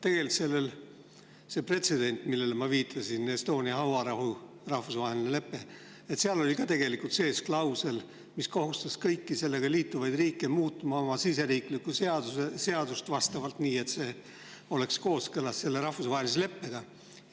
Tegelikult see pretsedent, millele ma viitasin – Estonia hauarahu rahvusvaheline lepe –, seal oli ka tegelikult sees klausel, mis kohustas kõiki sellega liituvaid riike muutma oma riigi seadust nii, et see oleks kooskõlas rahvusvahelise leppega.